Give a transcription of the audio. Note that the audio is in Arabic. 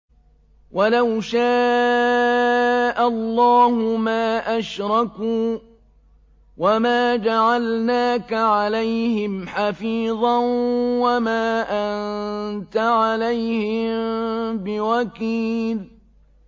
وَلَوْ شَاءَ اللَّهُ مَا أَشْرَكُوا ۗ وَمَا جَعَلْنَاكَ عَلَيْهِمْ حَفِيظًا ۖ وَمَا أَنتَ عَلَيْهِم بِوَكِيلٍ